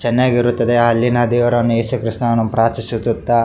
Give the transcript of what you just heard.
ಚೆನ್ನಾಗಿ ಇರುತ್ತದೆ ಅಲ್ಲಿನ ದೇವಾರನ್ನು ಯೇಸು ಕ್ರೈಸ್ತನನ್ನು ಪ್ರಾರ್ಥಿಸುತ್ತ --